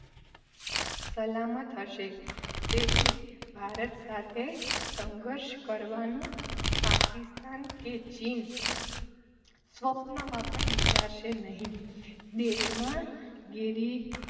સલામત હશે તેથી ભારત સાથે સંઘર્ષ કરવાનું પાકિસ્તાન કે ચીન સ્વપ્નમાં પણ વિચારશે નહિ. દેશમાં ગિરી